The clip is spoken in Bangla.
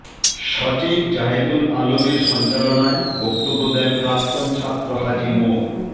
সচিব জাহেদুল আলমের সঞ্চালনায় বক্তব্য দেন প্রাক্তন ছাত্র হাজি মো